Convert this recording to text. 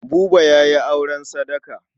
Buba ya yi auren sadaka.